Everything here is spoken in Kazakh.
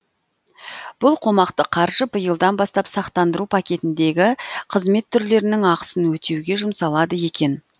бұл қомақты қаржы биылдан бастап сақтандыру пакетіндегі қызмет түрлерінің ақысын өтеуге жұмсалады екен